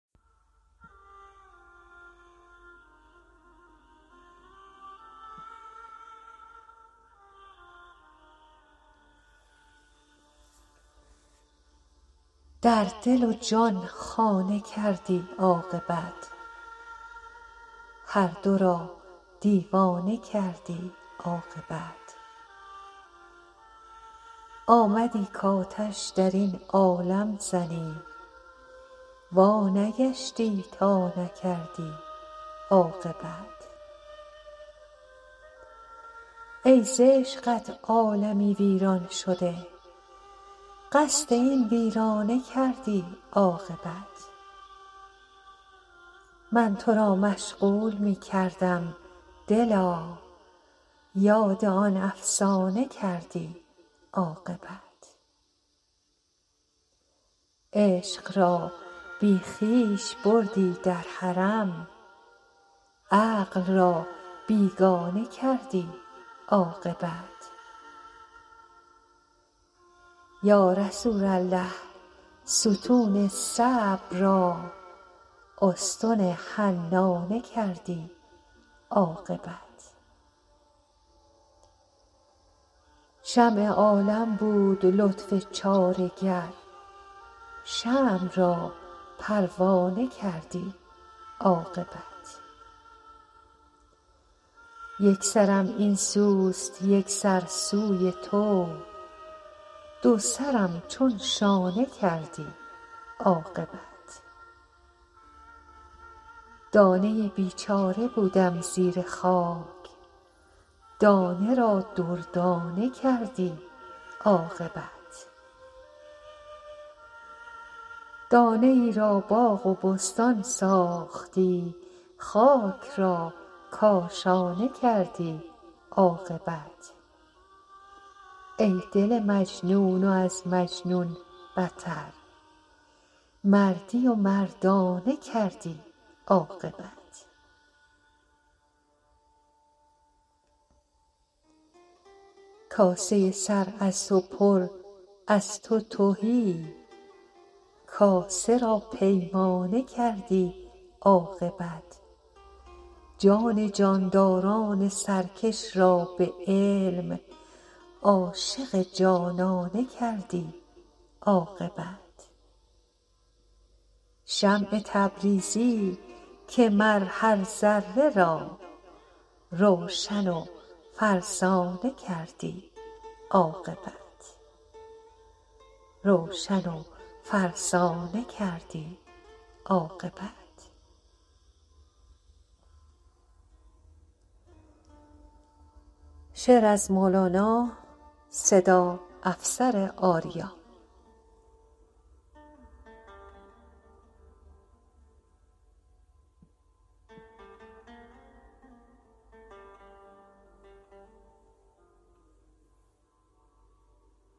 در دل و جان خانه کردی عاقبت هر دو را دیوانه کردی عاقبت آمدی کآتش در این عالم زنی وانگشتی تا نکردی عاقبت ای ز عشقت عالمی ویران شده قصد این ویرانه کردی عاقبت من تو را مشغول می کردم دلا یاد آن افسانه کردی عاقبت عشق را بی خویش بردی در حرم عقل را بیگانه کردی عاقبت یا رسول الله ستون صبر را استن حنانه کردی عاقبت شمع عالم بود لطف چاره گر شمع را پروانه کردی عاقبت یک سرم این سوست یک سر سوی تو دو سرم چون شانه کردی عاقبت دانه ای بیچاره بودم زیر خاک دانه را دردانه کردی عاقبت دانه ای را باغ و بستان ساختی خاک را کاشانه کردی عاقبت ای دل مجنون و از مجنون بتر مردی و مردانه کردی عاقبت کاسه سر از تو پر از تو تهی کاسه را پیمانه کردی عاقبت جان جانداران سرکش را به علم عاشق جانانه کردی عاقبت شمس تبریزی که مر هر ذره را روشن و فرزانه کردی عاقبت